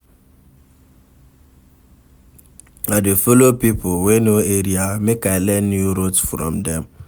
I dey folo pipo wey know area, make I learn new routes from dem.